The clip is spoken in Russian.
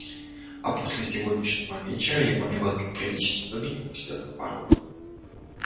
а после сегодняшнего вечера его ни в одном приличном доме не пустят на порог